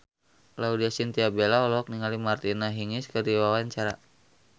Laudya Chintya Bella olohok ningali Martina Hingis keur diwawancara